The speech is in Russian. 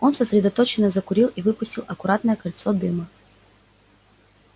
он сосредоточенно закурил и выпустил аккуратное кольцо дыма